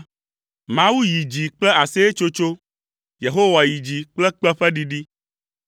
Mawu yi dzi kple aseyetsotso, Yehowa yi dzi kple kpẽ ƒe ɖiɖi.